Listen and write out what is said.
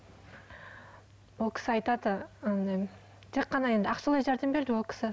ол кісі айтады андай тек қана енді ақшалай жәрдем берді ол кісі